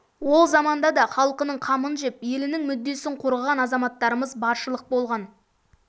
ол заманда да халқының қамын жеп елінің мүддесін қорғаған азаматтарымыз баршылық болған